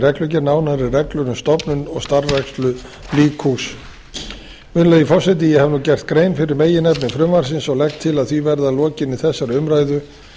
reglugerð nánari reglur um stofnun og starfrækslu líkhús virðulegi forseti ég hef gert grein fyrir meginefni frumvarpsins og legg til að því verði að lokinni þessari umræðu